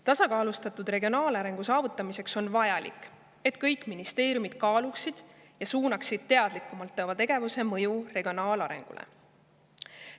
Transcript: Tasakaalustatud regionaalarengu saavutamiseks on vajalik, et kõik ministeeriumid kaaluksid teadlikumalt oma tegevuse mõju regionaalarengule.